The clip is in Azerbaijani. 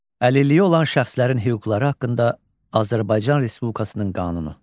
Əlilliyi olan şəxslərin hüquqları haqqında Azərbaycan Respublikasının qanunu.